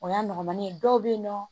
O y'a nɔgɔmani ye dɔw be yen nɔ